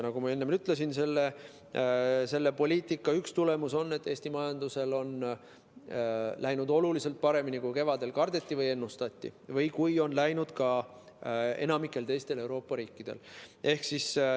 Nagu ma enne ütlesin, selle poliitika üks tulemusi on see, et Eesti majandusel on läinud oluliselt paremini, kui kevadel kardeti või ennustati või kui on läinud enamikul teistel Euroopa riikidel.